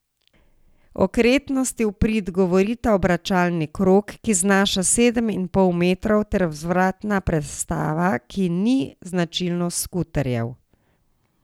Okretnosti v prid govorita obračalni krog, ki znaša sedem in pol metrov ter vzvratna prestava, ki ni značilnost skuterjev.